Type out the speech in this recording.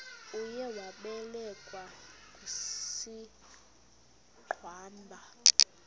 uye wabelekwa ngusigwamba